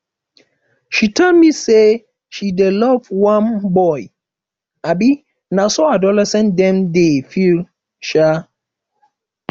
she tell me sey she dey love one boy um na so adolescent dem dey feel um